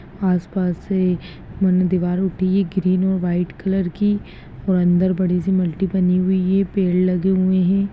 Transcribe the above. आस-पास से उन दीवारों पे ग्रीन और व्हाइट कलर की अंदर बड़ी -सी मटकी बनी हुई है पेड़ लगे हुये हैं।